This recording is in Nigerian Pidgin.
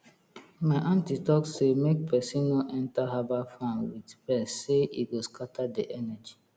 my aunty talk say make person no enter herbal farm with vex sey e go scatter the energy